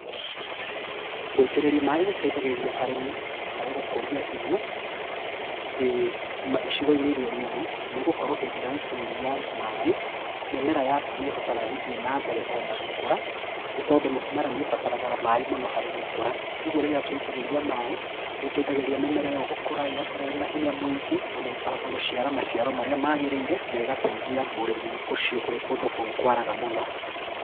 Gũitĩrĩria maaĩ gũteithagia arĩmi harĩ gũkũria irio, icigo-inĩ iria nyũmũ nĩgũkorwo hĩndĩ ĩrĩa waitĩrĩria maaĩ, mĩmera yaku nĩĩhotaga gĩthiĩ na mbere o na gũkũra, nĩ tondũ mũmera nĩũbataraga maaĩ mũno harĩ gũkũra. Ũguo rĩrĩa twaitĩrĩria maaĩ nĩũteithagĩrĩria mĩmera ĩyo gũkũra ĩgakũra ĩna hinya mũingĩ na ĩkahota gũciara maciaro marĩa magĩrĩire na ĩgateithia mũrĩmi ũcio ũrĩ kũndũ kũu kwaraga mũno